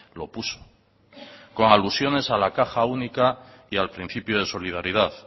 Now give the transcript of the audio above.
lo puso con alusiones a la caja única y al principio de solidaridad